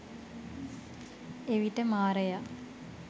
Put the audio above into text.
එවිට මාරයා